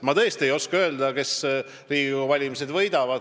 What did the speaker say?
Ma tõesti ei oska öelda, kes võidab Riigikogu valimised.